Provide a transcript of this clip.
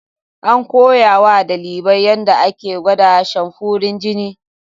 An koya wa ɗalibin yadda ake gwada samfurin jini.